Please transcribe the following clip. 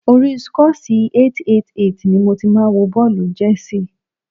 Orí Scores888 ni mo ti máa wo bọ́ọ̀lù Chelsea.